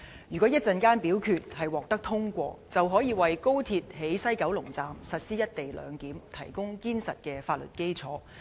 如果稍後的表決獲得通過，便可以為高鐵在西九龍站實施"一地兩檢"提供堅實的法律基礎。